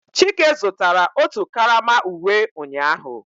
Chike zụtara otu karama uwe ụnyahụ